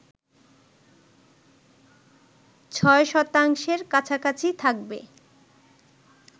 ৬ শতাংশের কাছাকাছি থাকবে